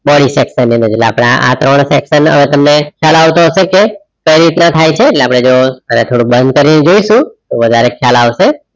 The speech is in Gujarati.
ને છે આપડે એટલે આ ત્રણ sector ને હવે તમને ખ્યાલ આવતો હશે કઈ રીતના થાય છે એટલે આપડે જો અને થોડુંક બંધ કરીં જોઇશુ તો વધારે ખ્યાલ આવશે